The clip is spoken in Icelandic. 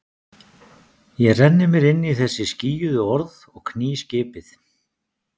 Ég renni mér inn í þessi skýjuðu orð og kný skipið.